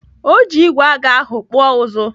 Ọ ji igwe aga ahụ kpụọ ụzụ.